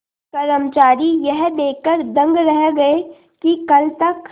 कर्मचारी यह देखकर दंग रह गए कि कल तक